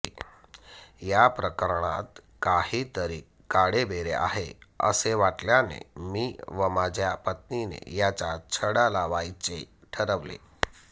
या प्रकरणात काहीतरी काळेबेरे आहे असे वाटल्याने मी व माझ्या पत्नीने याचा छडा लावायचे ठरवले